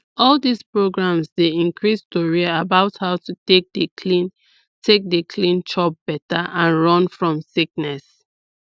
all dis programs dey increase tori about how to take dey clean take dey clean chop better and run fom sickness